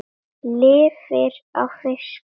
Lifir á fiski.